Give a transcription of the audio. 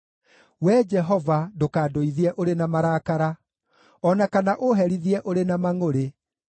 Wee Jehova, ndũkandũithie ũrĩ na marakara, o na kana ũũherithie ũrĩ na mangʼũrĩ.